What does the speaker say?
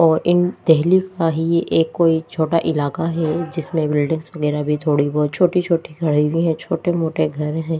और इन देहली का ही एक कोई छोटा इलाका है जिसमें बिल्डिंग्स वगैरह भी थोड़ी बहुत छोटी-छोटी खड़ी हुई है छोटे-मोटे घर हैं।